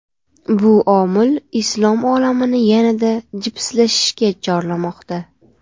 Bu omil islom olamini yanada jipslashishga chorlamoqda.